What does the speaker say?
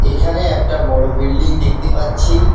এখানে একটা বড়ো বিল্ডিং দেখতে পাচ্ছি।